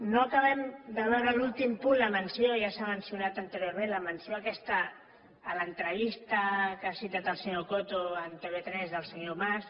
no acabem de veure l’últim punt ja s’ha mencionat anteriorment la menció aquesta a l’entrevista que ha citat el senyor coto a tv3 del senyor mas